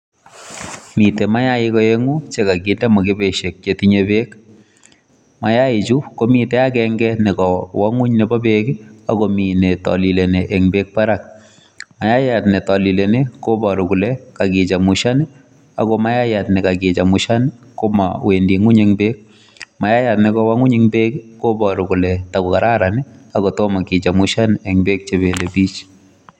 Miten mainik oengung chekokinde mokuboisiek chetinye berk, mayaichu komiten agenge nekowoo ngwony nebo beek, akomi netolilenii en beek barak. Mayayat netolileeni kobooru kole kakichemushan ak mayayat nekakichemushan komowendii ngwony en beek. Mayayat nekowoo ngwony en beek kobooru kole takokararan akotome kechemushan en beek chebelebich.